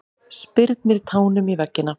Spyrnir tánum í veggina.